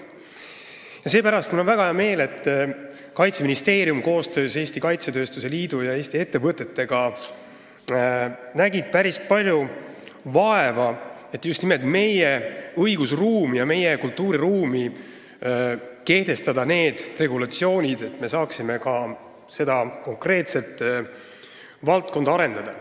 Seepärast on mul väga hea meel, et Kaitseministeerium koostöös Eesti Kaitsetööstuse Liidu ja Eesti ettevõtetega on näinud päris palju vaeva, et just nimelt meie õigusruumi ja kultuuriruumi jaoks kehtestada need regulatsioonid, et me saaksime ka seda konkreetset valdkonda arendada.